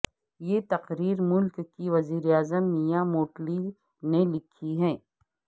یہ تقریر ملک کی وزیر اعظم میا موٹلی نے لکھی ہے